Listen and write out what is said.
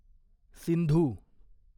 Sindhu